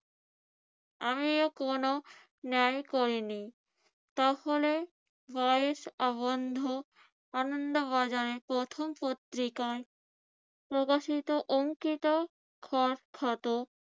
আমি ও কোন ন্যায় করিনি। তাহলে ভয়েস আবন্ধু আনন্দ বাজারের প্রথম পত্রিকায় প্রকাশিত অংকিত খত~ ক্ষত